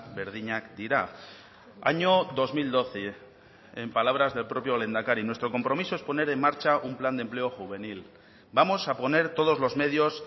berdinak dira año dos mil doce en palabras del propio lehendakari nuestro compromiso es poner en marcha un plan de empleo juvenil vamos a poner todos los medios